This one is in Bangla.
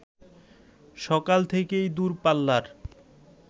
সকাল থেকেই দূরপাল্লার